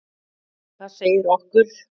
Það segi okkur: